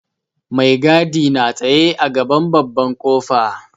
Mai gadi na tsaye a gaban babban ƙofa.